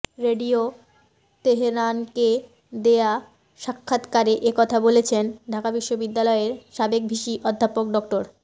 radio তেহরানকে দেয়া সাক্ষাৎকারে একথা বলেছেন ঢাকা বিশ্ববিদ্যালয়ের সাবেক ভিসি অধ্যাপক ড